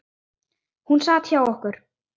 Hún sat hjá okkur